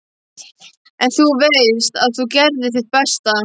En þú veist þá að þú gerðir þitt besta.